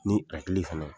Ni hakili fana